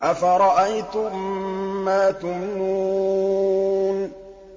أَفَرَأَيْتُم مَّا تُمْنُونَ